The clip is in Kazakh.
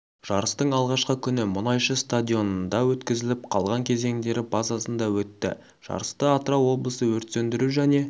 жарыстың алғашқы күні мұнайшы стадионында өткізіліп қалған кезеңдері базасында өтті жарысты атырау облысы өрт сөндіру және